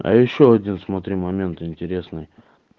а ещё один смотри момент интересный